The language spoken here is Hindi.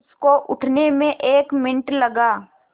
उसको उठने में एक मिनट लगा